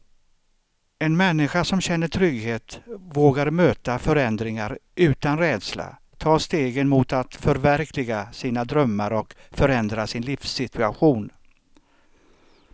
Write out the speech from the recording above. En människa som känner trygghet vågar möta förändringar utan rädsla, ta stegen mot att förverkliga sina drömmar och förändra sin livssituation.